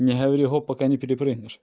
не говори гоп пока не перепрыгнешь